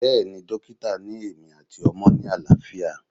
Bẹ́ẹ̀ni, dókítà ni èmi àti ọmọ ni àlàáfíà